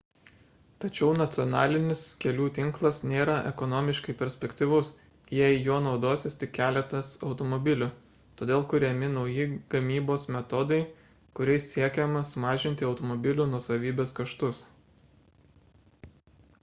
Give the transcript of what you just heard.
tačiau nacionalinis kelių tinklas nėra ekonomiškai perspektyvus jei juo naudosis tik keletas automobilių todėl kuriami nauji gamybos metodai kuriais siekiama sumažinti automobilių nuosavybės kaštus